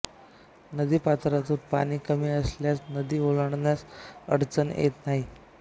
नदी पात्रातून पाणी कमी असल्यास नदी ओलांडण्यास अडचण येत नाही